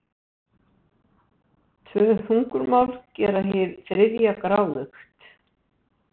Tvö hungurmál gera hið þriðja gráðugt.